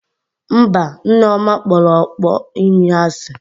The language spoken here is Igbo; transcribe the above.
Mba, Nneoma kpọrọ ọkpọ imi asị